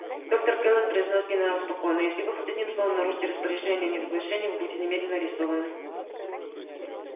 доктор кэлвин произнёс генерал спокойно если вы хоть одним словом нарушите распоряжения о неразглашении вы будете немедленно арестованы